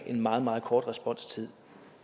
en meget meget kort responstid